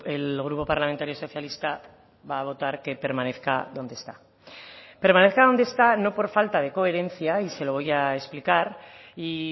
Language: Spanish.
el grupo parlamentario socialista va a votar que permanezca donde está permanezca donde está no por falta de coherencia y se lo voy a explicar y